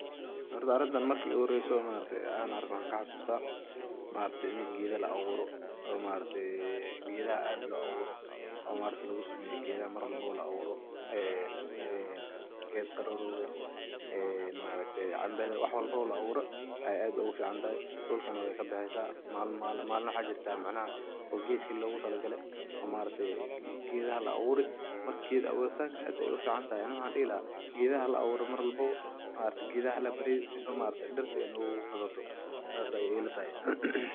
Horta arinta marki igu horeeysay maragtay an arko waxan kaxasusta maragtay in geedo labuura o maragtay geeda ad lo abuura o maragtay lagu sameeyo marwalbaba laaburo e ged qarorwga, e cambada waxwalbaba labuura e ad ugu ficantahay dulakana wey kabaxeysa malin waxa jirta macnaha o gedi loga talagalay o maragtay gedaha laburay marka geed abuurinka ad ayay u ficantahay waxan dihi laha gedaha ala abuura malin walbaba gedaha ala baadiyo sifa diirta ay nogu badaato sas aya ila tahay.